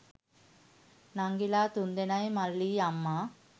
නංගිලා තුන්දෙනයි මල්ලියි අම්මා